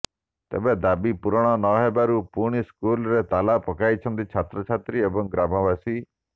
ତେବେ ଦାବି ପୂରଣ ନହେବାରୁ ପୁଣି ସ୍କୁଲରେ ତାଲା ପକାଇଛନ୍ତି ଛାତ୍ରଛାତ୍ରୀ ଏବଂ ଗ୍ରାମବାସୀ